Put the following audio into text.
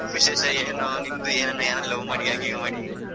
ವಿಶೇಷ ಏನು ನಿಮ್ದು ಏನ್ love ಮಾಡಿಯಾ ಗಿವ್ ಮಾಡಿ.